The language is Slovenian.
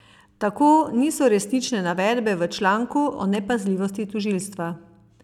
Tako niso resnične navedbe v članku o nepazljivosti tožilstva.